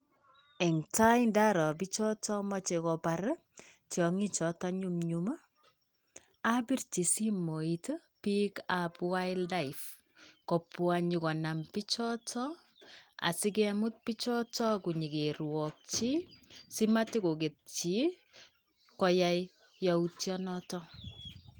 Eng tai ndaro bichotot machei kobar tiiong'ichoto nyumnyum. Abirji simooit bikab wildlife kopwa nyo konam bichoto asikemut bichoto nyekeruwakyi simatokoketyi koyaiyautyo noto.